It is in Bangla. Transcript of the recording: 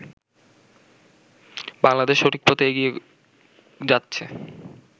বাংলাদেশ সঠিক পথে এগিয়ে যাচ্ছে।